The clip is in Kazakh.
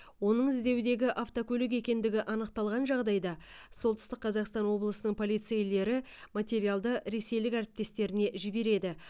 оның іздеудегі автокөлік екендігі анықталған жағдайда солтүстік қазақстан облысының полицейлері материалды ресейлік әріптестеріне жібереді